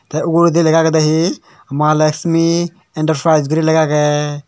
te uguredi lega agede hi malaxmi interprais guri lega agey.